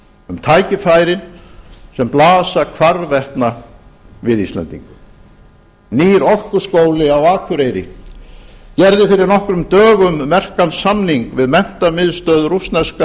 um tækifærin sem blasa hvarvetna við íslendingum nýr orkuskóli á akureyri gerði fyrir nokkrum dögum merkan samning við menntamiðstöð rússneska